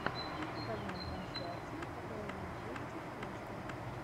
покажи нам трансляцию апл манчестер лестер